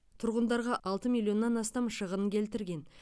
тұрғындарға алты миллионнан астам шығын келтірген